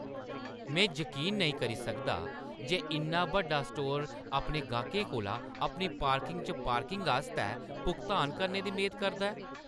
में जकीन नेईं करी सकदा जे इन्ना बड्डा स्टोर अपने गाह्कें कोला अपनी पार्किंग च पार्किंग आस्तै भुगतान करने दी मेद करदा ऐ!